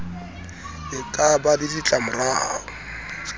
e ka ba le ditlamorao